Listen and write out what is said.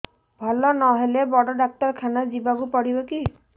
ଭଲ ନହେଲେ ବଡ ଡାକ୍ତର ଖାନା ଯିବା କୁ ପଡିବକି